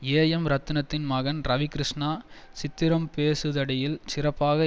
AM ரத்னத்தின் மகன் ரவிகிருஷ்ணா சித்திரம் பேசுதடியில் சிறப்பாக